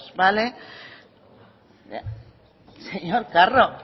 vale señor carro